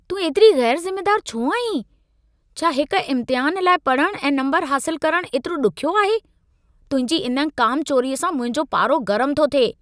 तूं ऐतिरी ग़ैरु ज़िमेदारु छो आहीं? छा हिक इम्तिहान लाइ पढ़णु ऐं नम्बर हासिलु करणु एतिरो ॾुखियो आहे? तुंहिंजी इन कामचोरीअ सां मुंहिंजो पारो गरम थो थिए।